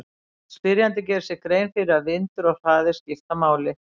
Spyrjandi gerir sér grein fyrir að vindur og hraði skipta máli.